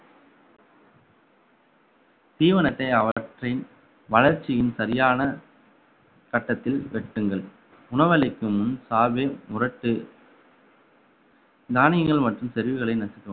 தீவனத்தை அவற்றின் வளர்ச்சியின் சரியான கட்டத்தில் வெட்டுங்கள் உணவளிக்கும் முன் சாவே முரட்டு தானியங்கள் மற்றும் செறிவுகளை நசுக்கவும்